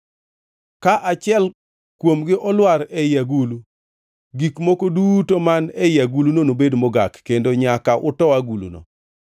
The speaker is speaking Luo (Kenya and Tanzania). Kaachiel kuomgi olwar ei agulu, gik moko duto man ei aguluno nobed mogak, kendo nyaka uto aguluno.